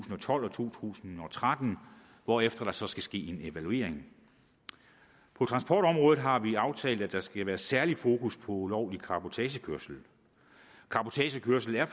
tolv og to tusind og tretten hvorefter der så skal ske en evaluering på transportområdet har vi aftalt at der skal være særlig fokus på ulovlig cabotagekørsel cabotagekørsel er